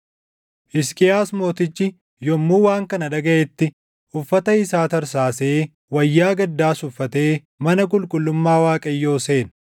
Hisqiyaas mootichi yommuu waan kana dhagaʼetti, uffata isaa tarsaasee wayyaa gaddaas uffatee mana qulqullummaa Waaqayyoo seene.